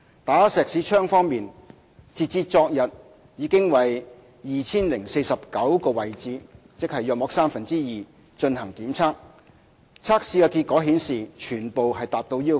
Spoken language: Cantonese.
"打石屎槍"方面，截至昨天已為約 2,049 個位置進行檢測，測試結果顯示全部達到要求。